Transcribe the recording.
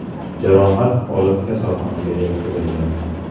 jarohat olib, kasalxonaga yotqizilgan.